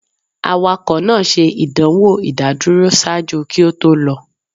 Awakọ naa ṣe idanwo idaduro ṣaaju ki o to lọ.